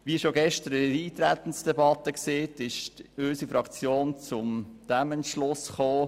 Wie schon gestern in der Eintretensdebatte erwähnt, ist unsere Fraktion zu folgendem Entschluss gekommen: